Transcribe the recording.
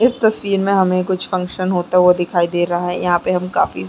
इस तस्वीर में हमें कुछ फंक्शन होता हुआ दिखाई दे रहा हैं यहाँ पर हम काफी--